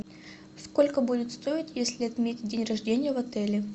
сколько будет стоить если отметить день рождения в отеле